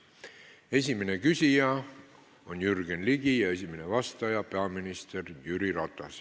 Esimene küsija on Jürgen Ligi ja esimene vastaja peaminister Jüri Ratas.